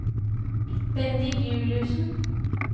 Bendik Juliussen